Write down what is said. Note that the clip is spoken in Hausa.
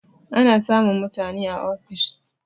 Ana samun mutani a ofis